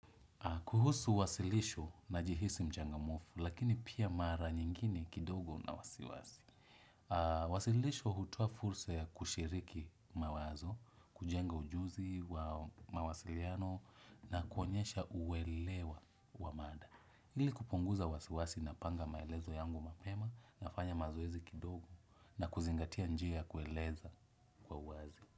Kuhusu wasilisho najihisi mchangamufu, lakini pia mara nyingine kidogo na wasiwasi. Wasilisho hutoa fulsa ya kushiriki mawazo, kujenga ujuzi wa mawasiliano na kuonyesha uwelewa wa mada. Ili kupunguza wasiwasi napanga maelezo yangu mapema nafanya mazoezi kidogo na kuzingatia njia ya kueleza kwa uwazi.